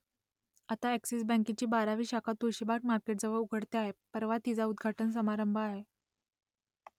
आता अ‍ॅक्सिस बँकेची बारावी शाखा तुळशीबाग मार्केटजवळ उघडते आहे परवा तिचा उद्घाटन समारंभ आहे